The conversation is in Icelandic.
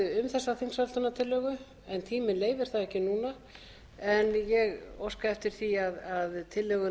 þessa þingsályktunartillögu en tíminn leyfir það ekki núna en ég óska eftir því að tillögunni verði vísað til